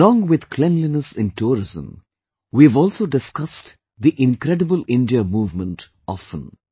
Along with cleanliness in tourism, we have also discussed the Incredible India movement often